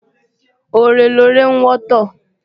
Ore lore ń wọ́tọ̀